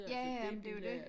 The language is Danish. Ja ja men det jo dét